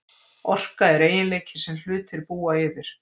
Orka er eiginleiki sem hlutir búa yfir.